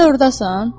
Hələ ordasan?